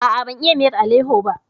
A'a, ban iya miyar aleho ba.